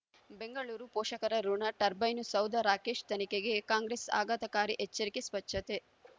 ಬೆಂಗಳೂರು ಪೋಷಕರಋಣ ಟರ್ಬೈನು ಸೌಧ ರಾಕೇಶ್ ತನಿಖೆಗೆ ಕಾಂಗ್ರೆಸ್ ಆಘಾತಕಾರಿ ಎಚ್ಚರಿಕೆ ಸ್ವಚ್ಛತೆ